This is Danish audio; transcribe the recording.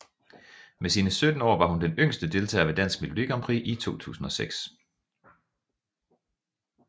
Med sine 17 år var hun den yngste deltager ved Dansk Melodi Grand Prix i 2006